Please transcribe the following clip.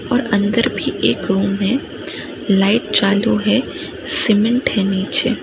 और अंदर भी एक रूम है लाइट चालू है सीमेंट है नीचे।